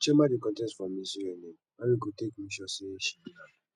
chioma dey contest for miss unn how we go take make sure she win am